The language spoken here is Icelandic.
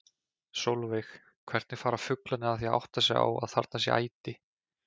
Sólveig: Hvernig fara fuglarnir að því að átta sig á að þarna sé æti?